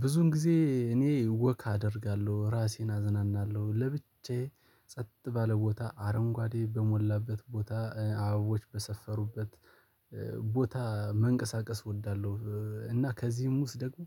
ብዙን ጊዜ እኔ ወክ አደርጋለሁ ራሴን አዝናናለሁ ለብቻዬ ጸጥ ባለ ቦታ አረንጓዴ በሞላበት ቦታ አበቦች በሰፈሩበት ቦታ መንቀሳቀስ እወዳለሁ። እና ከዚህም ውስጥ ደግሞ